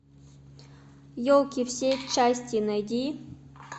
елки все части найди